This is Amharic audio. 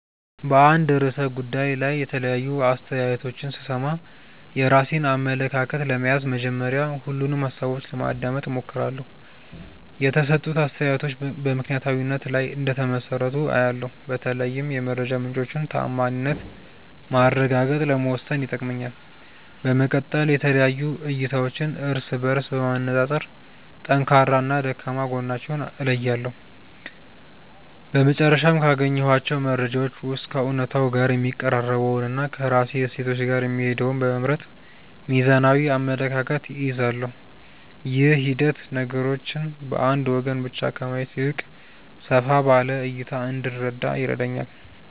በአንድ ርዕሰ ጉዳይ ላይ የተለያዩ አስተያየቶችን ስሰማ፣ የራሴን አመለካከት ለመያዝ መጀመሪያ ሁሉንም ሃሳቦች ለማዳመጥ እሞክራለሁ። የተሰጡት አስተያየቶች በምክንያታዊነት ላይ እንደተመሰረቱ አያለው፤ በተለይም የመረጃ ምንጮቹን ተዓማኒነት ማረጋገጥ ለመወሰን ይጠቅመኛል። በመቀጠል የተለያዩ እይታዎችን እርስ በእርስ በማነፃፀር ጠንካራና ደካማ ጎናቸውን እለያለሁ። በመጨረሻም፣ ካገኘኋቸው መረጃዎች ውስጥ ከእውነታው ጋር የሚቀራረበውንና ከራሴ እሴቶች ጋር የሚሄደውን በመምረጥ ሚዛናዊ አመለካከት እይዛለሁ። ይህ ሂደት ነገሮችን በአንድ ወገን ብቻ ከማየት ይልቅ ሰፋ ባለ እይታ እንድረዳ ይረዳኛል።